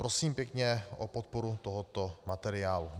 Prosím pěkně o podporu tohoto materiálu.